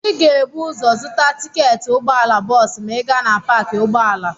Ị ga-ebu ụzọ zụta tiketi ụgbọala bọọsụ ma ị gaa na paakị ụgbọala.